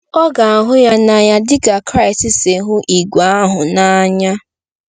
Ọ ga-ahụ ya n’anya dị ka Kraịst si hụ ìgwè ahụ n’anya.